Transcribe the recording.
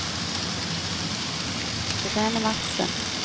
Irene Madsen